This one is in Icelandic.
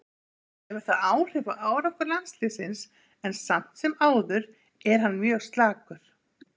Vitanlega hefur það áhrif á árangur landsliðsins en samt sem áður er hann mjög slakur.